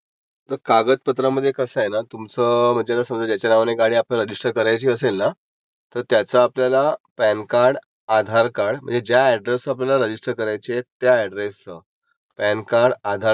किंवा voter ID असतं ना वोटर आयडी ते आणि एखादं समजा म्हणजे लाइट बिल किंवा आपलं गॅस असतं तो महानगर गॅस वाल्याची रीसिट हे असं काहीतरी युटीलिटी बिल लागंत,